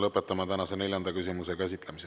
Lõpetame tänase neljanda küsimuse käsitlemise.